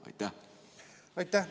Aitäh!